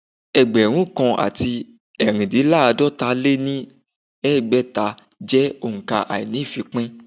Ẹgbẹ̀rún kan àti ẹ̀rindínláàdọ́ta lé ní ẹgbẹ́ta jẹ́ òǹkà àíní-ìfípín